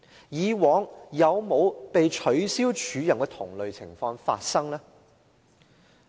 以往有否被取消署任的同類情況發生呢？